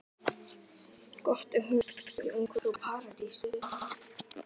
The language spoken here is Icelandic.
Gott ef hún var ekki ungfrú Paradís líka.